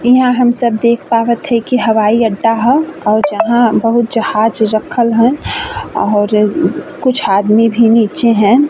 इहा हम सब देख पावत हई कि हवाई अड्डा ह और जहाँ बहुत जहाज रखल ह औहर कुछ आदमी भी नीचे हैन।